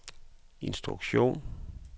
instruktion